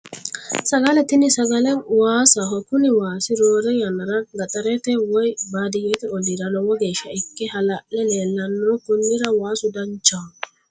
Sagale tini sagale waasaho kuni waasi roore yannara gaxarete woyi baadiyyete olliira lowo geeshsha ikke hala'le leellanno konnira waasu danchaho